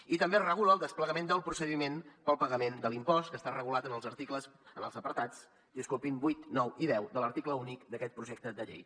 i també es regula el desplegament del procediment per al pagament de l’impost que està regulat en els apartats vuit nou i deu de l’article únic d’aquest projecte de llei